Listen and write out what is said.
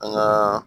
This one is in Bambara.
An gaa